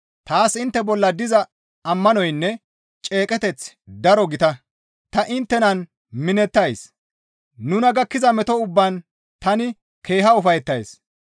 Taas intte bolla diza ammanoynne ceeqeteththi daro gita; ta inttenan minettays; nuna gakkiza meto ubbaan tani keeha ufayettays.